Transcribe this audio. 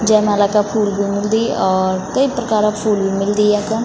जय माला का फूल भी मिलदी और कई प्रकारा फूल भी मिलदी यख।